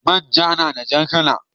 Man ja nada jar kala